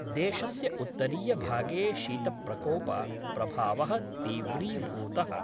देशस्य उत्तरीयभागे शीतप्रकोप प्रभावः तीव्रीभूतः।